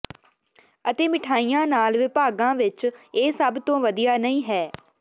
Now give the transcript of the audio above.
ਅਤੇ ਮਿਠਾਈਆਂ ਨਾਲ ਵਿਭਾਗਾਂ ਵਿੱਚ ਇਹ ਸਭ ਤੋਂ ਵਧੀਆ ਨਹੀਂ ਹੈ